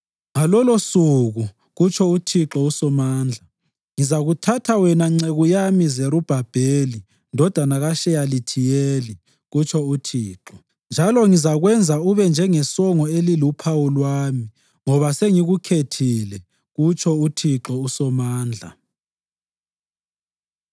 ‘Ngalolosuku,’ kutsho uThixo uSomandla, ‘ngizakuthatha wena nceku yami Zerubhabheli ndodana kaSheyalithiyeli,’ kutsho uThixo, ‘njalo ngizakwenza ube njengesongo eliluphawu lwami, ngoba sengikukhethile,’ kutsho uThixo uSomandla.”